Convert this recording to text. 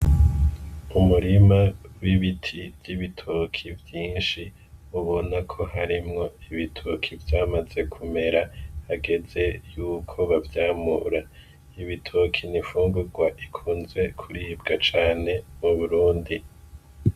Umurima w'ibiti vy'ibitoke vyinshi ubona ko karimwo ibitoke vyamaze kumera hageze yuko bavyamura, ibitoke ni infungurwa ikunzwe kuribwa cane mu Burundi.